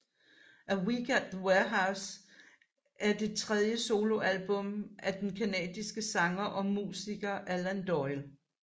A Week at the Warehouse er det tredje soloalbum af den canadiske sanger og musiker Alan Doyle